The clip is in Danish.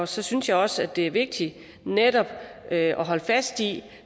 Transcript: så synes jeg også at det er vigtigt netop at holde fast i